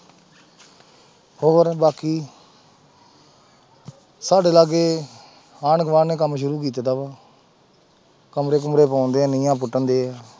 ਹੋਰ ਬਾਕੀ ਸਾਡੇ ਲਾਗੇ ਆਂਡ ਗੁਆਂਢ ਨੇ ਕੰਮ ਸ਼ੁਰੂ ਕੀਤਾ ਵਾ ਕਮਰੇ ਕੁਮਰੇ ਪਾਉਂਦੇ ਆ ਨੀਹਾਂ ਪੁੱਟਣਦੇ ਆ।